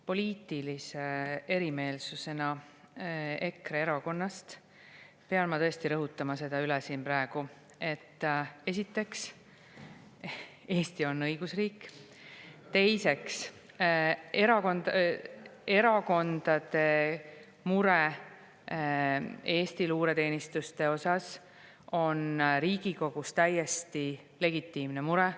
Poliitilise erimeelsusena EKRE erakonnaga pean ma tõesti siin praegu üle rõhutama, et esiteks, Eesti on õigusriik; teiseks, erakondade mure Eesti luureteenistuste pärast on Riigikogus täiesti legitiimne mure.